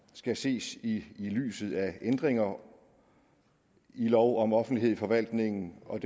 skal ses i lyset af ændringer i lov om offentlighed i forvaltningen og